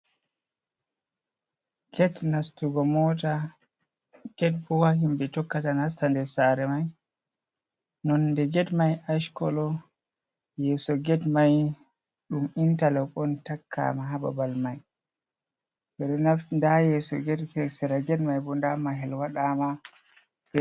Get nastugo mota get bo ha himɓe tokkata nasta nder sare mai nonde get mai ash kolo yeso get mai ɗum intelob on takkama hababal mai, ɓe ɗo naftira nda yeso get sera get mai bo nda mahol waɗama.